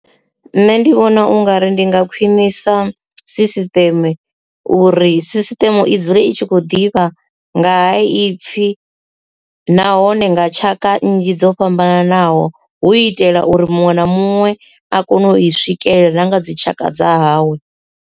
Nṋe ndi vhona ungari ndi nga khwinisa dzisisiteme uri sisiṱeme i dzule i tshi khou ḓivha nga ha ipfhi nahone nga tshaka nnzhi dzo fhambananaho hu itela uri muṅwe na muṅwe a kone u i swikelela na nga dzi tshaka dza hawe.